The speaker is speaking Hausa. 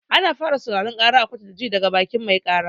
Ana fara sauraron ƙara a kotu da ji daga bakin mai ƙara.